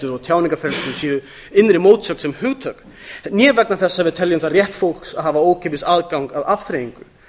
og tjáningarfrelsi séu innri mótsögn sem hugtök né vegna þess að við teljum það rétt fólks að hafa ókeypis aðgang að afþreyingu